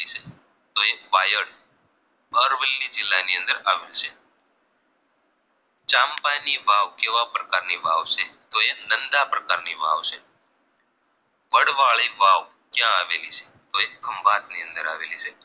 પરવેલ્લી જિલ્લાની અંદર આવેલી છે ચંપાજી વાવ કેવા પ્રકારની વાવ છે તો એ નંદા પ્રકારની વાવ છે વડવાળી વાવ ક્યાં આવેલી છે તો એ ખંભાતની અંદર આવેલી છે